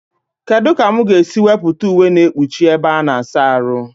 Kedụ ka mụ ga esi wepụta uwe na ekpuchi ebe a-na asa arụ?